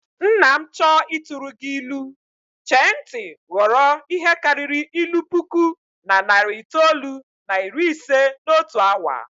Nna m chọọ ịtụrụ gị ilu, chee ntị ghọrọ ihe karịrị ilu puku na narị itoolu na iri ise n'otu awa